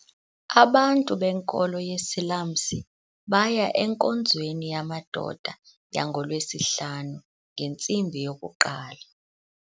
Abantu benkolo yesiLamse baya enkonzweni yamadoda yangoLwesihlanu ngentsimbi yokuqala.